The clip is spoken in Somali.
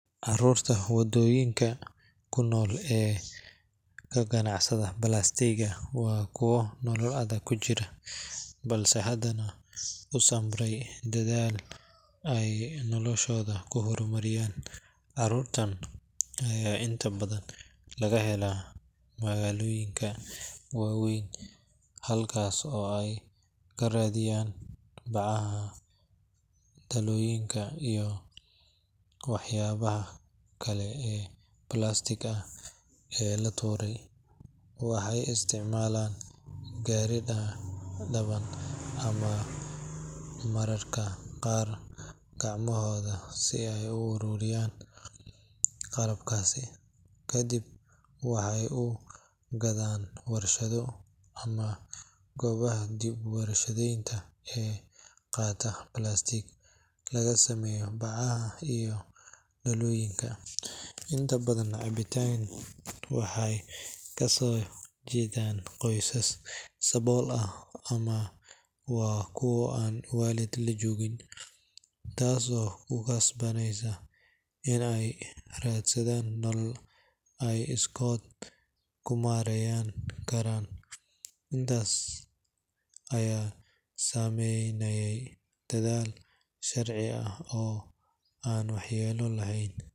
Carruurta waddooyinka ku nool ee ka ganacsata balaastigga waa kuwo nolol adag ku jira, balse haddana u samray dadaal ay noloshooda ku horumarinayaan. Carruurtan ayaa inta badan laga helaa magaalooyinka waaweyn halkaas oo ay ka raadiyaan bacaha, dhalooyinka iyo waxyaabaha kale ee plastic ah ee la tuuray. Waxay isticmaalaan gaari-dhaban ama mararka qaar gacmahooda si ay u ururiyaan qalabkaas, kadibna waxay u gadaan warshado ama goobaha dib u warshadaynta ee qaata plastic laga sameeyo bacaha iyo dhalooyinka. Inta badan carruurtan waxay kasoo jeedaan qoysas sabool ah ama waa kuwo aan waalid la joogin, taasoo ku khasabtay in ay raadsadaan nolol ay iskood ku maarayn karaan. Inkastoo ay sameynayaan dadaal sharci ah oo aan waxyeello lahayn.